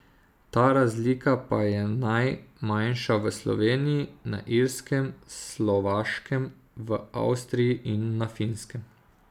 Ta razlika pa je najmanjša v Sloveniji, na Irskem, Slovaškem, v Avstriji in na Finskem.